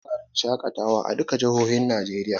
Akwai wurarren shaƙatawa a duka jihohin Najeriya